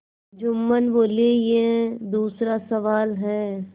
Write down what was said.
जुम्मन बोलेयह दूसरा सवाल है